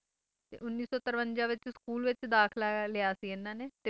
ਤੇ ਉੱਨੀ ਸੌ ਤਰਵੰਜਾ ਵਿੱਚ ਸਕੂਲ ਵਿੱਚ ਦਾਖਲਾ ਲਿਆ ਸੀ ਇਨ੍ਹਾਂ ਨੇ